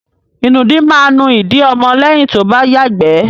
Ìnùdí máa nú ìdí ọmọ lẹ́yìn tó bá yàgbẹ́.